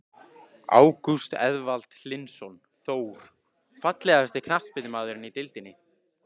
Ágúst Eðvald Hlynsson, Þór.Fallegasti knattspyrnumaðurinn í deildinni?